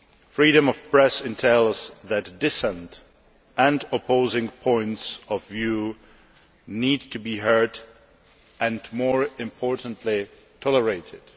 Freedom of the press entails that dissent and opposing points of view need to be heard and more importantly tolerated.